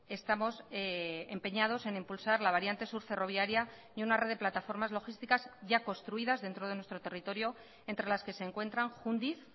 estamos empeñados en impulsar la variante sur ferroviaria y una red de plataformas logísticas ya construidas dentro de nuestro territorio entre las que se encuentran jundiz